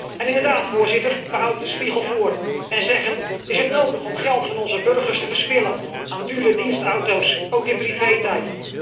En inderdaad, Voorzitter, we houden de spiegel voor en zeggen is het nodig om geld van onze burgers te verspillen aan dure dienstauto's, ook in privé tijd?